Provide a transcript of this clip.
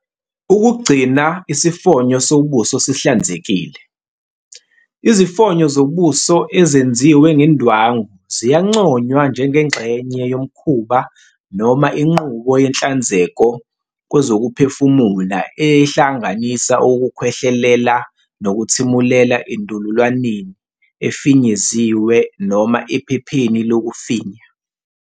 Ukugcina isifonyo sobuso sihlanzekile. Izifonyo zobuso ezenziwe ngendwangu ziyanconywa njengengxenye yomkhuba noma inqubo yenhlanzeko kwezokuphefumula ehlanganisa ukukhwehlelela nokuthimulela endololwaneni efinyeziwe noma ephepheni lokufinya.